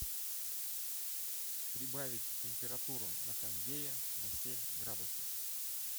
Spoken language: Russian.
прибавить температуру на кондее на семь градусов